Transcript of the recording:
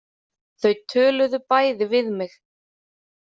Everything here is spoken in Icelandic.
Þau töluðu bæði við mig.